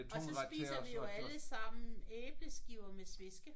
Og så spiser vi jo alle sammen æbleskiver med sveske